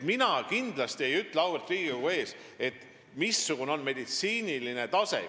Mina ei ütle kindlasti auväärt Riigikogu ees, missugune on kusagil meditsiiniline tase.